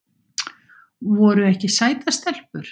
Voru ekki sætar stelpur?